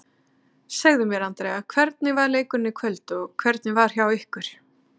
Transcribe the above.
Segðu mér Andrea, hvernig fer leikurinn í kvöld og hvernig var hjá ykkur?